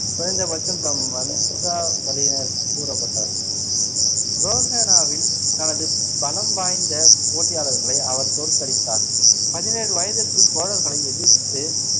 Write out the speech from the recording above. குறைந்தபட்சம் தம் வம்சாவளியினர் கூறப்பட்டார். ரோஹணாவில் தனது பலம் வாய்ந்த போட்டியாளர்களை அவர் தோற்கடித்தார். பதினேழு வயதிற்குள் சோழர்களை எதிர்த்துப்